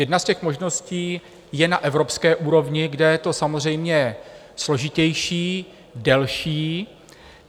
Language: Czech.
Jedna z těch možností je na evropské úrovni, kde je to samozřejmě složitější, delší.